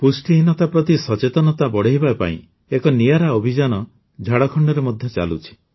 ପୁଷ୍ଟିହୀନତା ପ୍ରତି ସଚେତନତା ବଢ଼ାଇବା ପାଇଁ ଏକ ନିଆରା ଅଭିଯାନ ଝାଡ଼ଖଣ୍ଡରେ ମଧ୍ୟ ଚାଲୁଛି